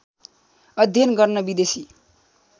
अध्ययन गर्न विदेशी